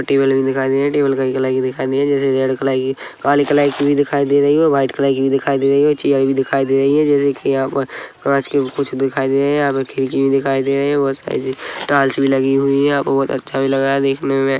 Table भी रखी दिखाई दे रही है टेबल काली कलर की दिखाई दे रही है जैसे रेड कलर की काली कलर की भी दिखाई दे रही है और व्हाइट कलर की भी दिखाई दे रही है चेयर भी दिखाई दे रही है जैसे की यहां पर कांच की कुछ दिखाई दे रही है यहां पे खिड़की भी दिखाई दे रही है मस्त कलर की टायल्स भी लगी हुई है बहुत अच्छा भी लग रहा है देखने मे।